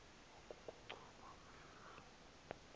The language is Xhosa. oku kochopha phezu